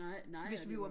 Nej nej og det var